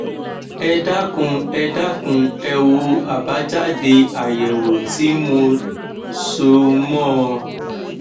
ẹ dákun ẹ dákun ẹ wo àbájáde àyẹwò tí mo so mọ ọn